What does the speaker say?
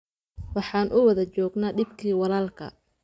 Waxaan u wada joognaa dhibkii walaalkaa